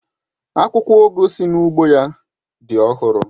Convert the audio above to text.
Akwụkwọ ugu si n'ugbo ya dị ọhụrụ